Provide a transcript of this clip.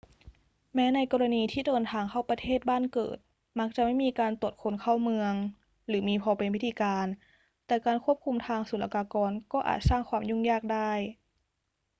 แม้ในกรณีที่เดินทางเข้าประเทศบ้านเกิด มักจะไม่มีการตรวจคนเข้าเมืองหรือมีพอเป็นพิธีการ แต่การควบคุมทางศุลกากรก็อาจสร้างความยุ่งยากได้